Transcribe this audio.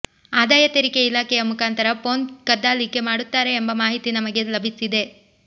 ಆದಾಯ ತೆರಿಗೆ ಇಲಾಖೆಯ ಮುಖಾಂತರ ಫೋನ್ ಕದ್ದಾಲಿಕೆ ಮಾಡುತ್ತಾರೆ ಎಂಬ ಮಾಹಿತಿ ನಮಗೆ ಲಭಿಸಿದೆ